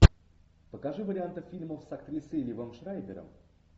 покажи варианты фильмов с актрисой ливом шрайбером